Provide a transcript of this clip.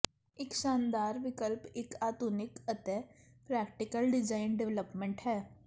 ਇੱਕ ਸ਼ਾਨਦਾਰ ਵਿਕਲਪ ਇੱਕ ਆਧੁਨਿਕ ਅਤੇ ਪ੍ਰੈਕਟੀਕਲ ਡਿਜ਼ਾਈਨ ਡਿਵੈਲਪਮੈਂਟ ਹੈ